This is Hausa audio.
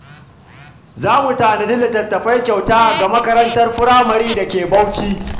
Za mu tanadi litattafai kyauta ga makarantar firamare da ke Bauchi.